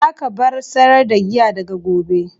Za ka bar sayar da giya daga gobe!